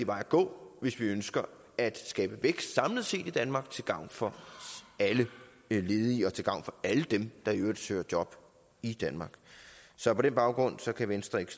vej at gå hvis vi ønsker at skabe vækst samlet set i danmark til gavn for alle ledige og til gavn for alle dem der i øvrigt søger job i danmark så på den baggrund kan venstre ikke